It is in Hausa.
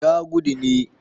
ya gudu ne